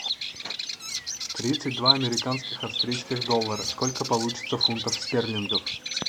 тридцать два американских австрийских доллара сколько получится фунтов стерлингов